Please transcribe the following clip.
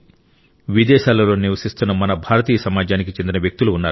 విదేశాలలో నివసిస్తున్న మన భారతీయ సమాజానికి చెందిన వ్యక్తులు ఉన్నారు